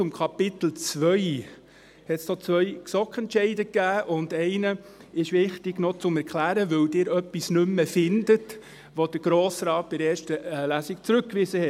Zu Kapitel II gab es zwei GSoK-Entscheide, und es ist wichtig, einen zu erklären, weil Sie etwas nicht mehr finden, das der Grosse Rat in erster Lesung zurückwies.